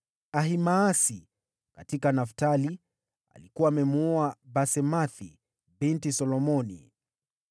Ahimaasi: katika Naftali (alikuwa amemwoa Basemathi binti Solomoni);